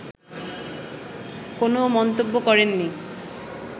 কোন মন্তব্য করেননি